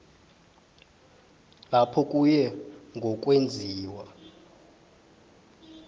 lapho kuye ngokwenziwa